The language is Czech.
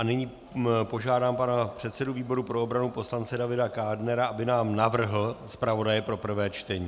A nyní požádám pana předsedu výboru pro obranu poslance Davida Kádnera, aby nám navrhl zpravodaje pro prvé čtení.